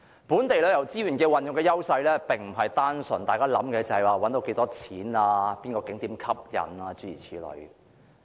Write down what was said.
本地旅遊資源的優勢並非單純關乎賺到多少錢、哪個景點吸引，諸如此類。